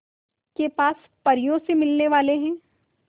के पास परियों से मिलने वाले हैं